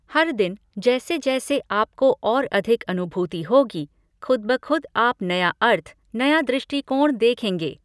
हर दिन जैसे जैसे आपको और अधिक अनुभूति होगी, खुद ब खुद आप नया अर्थ, नया दृष्टिकोण देखेंगे।